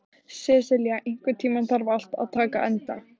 Sesilía, einhvern tímann þarf allt að taka enda.